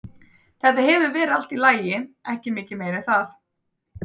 Þetta hefur verið allt í lagi, ekki mikið meira en það.